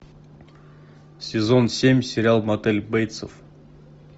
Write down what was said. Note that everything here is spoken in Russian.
сезон семь сериал мотель бейтсов